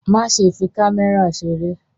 Má ṣe fi kámẹ́rà ṣeré!